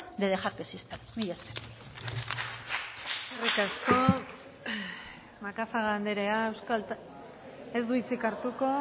de dejar que exista mila esker eskerrik asko macazaga anderea ez du hitzik hartuko